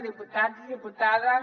diputats diputades